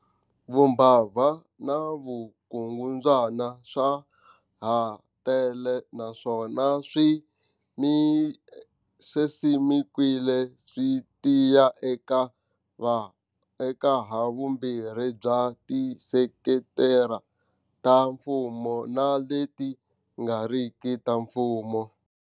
Vumbabva na vukungundzwana swa ha tele naswona swi simekiwile swi tiya eka havumbirhi bya tisekitara ta mfumo na leti nga riki ta mfumo.